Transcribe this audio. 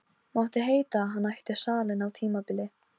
Þar á meðal er brauð með eggi.